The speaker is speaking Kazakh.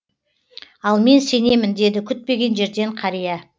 ал мен сенемін деді күтпеген жерден қария